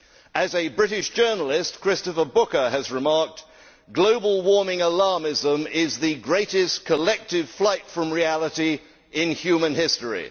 As a British journalist, Christopher Booker, has remarked, global warming alarmism is the greatest collective flight from reality in human history.